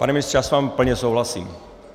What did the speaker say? Pane ministře, já s vámi plně souhlasím.